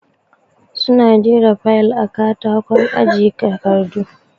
Su na jera fayal a katakon aje takardu